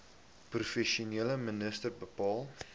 provinsiale minister bepaal